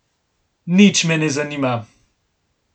Nič me ne zanima.